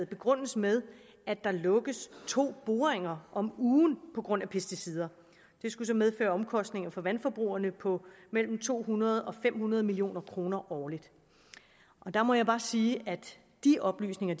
begrundes med at der lukkes to boringer om ugen på grund af pesticider det skulle så medføre omkostninger for vandforbrugerne på mellem to hundrede og fem hundrede million kroner årligt der må jeg bare sige at de oplysninger